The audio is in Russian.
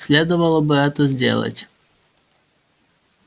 следовало бы это сделать